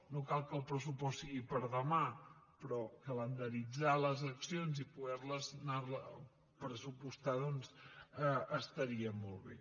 no cal que el pressupost sigui per a demà però calendaritzar les accions i poder les pressupostar doncs estaria molt bé